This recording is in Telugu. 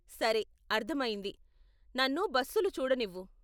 సరే, అర్ధమయ్యింది, నన్ను బస్సులు చూడనివ్వు.